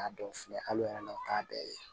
A dɔw filɛ hali n'a o t'a bɛɛ ye